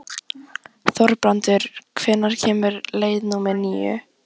Þorbrandur, hvenær kemur leið númer níu?